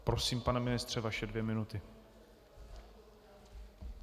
Prosím, pane ministře, vaše dvě minuty.